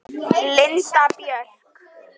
Linda Björk